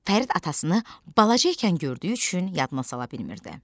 Fərid atasını balaca ikən gördüyü üçün yadına sala bilmirdi.